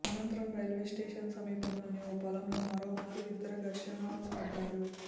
అనంతరం రైల్వేస్టేషన్ సమీపంలోని ఓ పొలంలో మరోమారు ఇద్దరు ఘర్షణ పడ్డారు